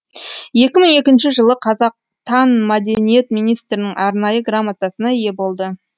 екі мың екінші жылы қазақтан мәдениет министрінің арнайы грамотасына ие болды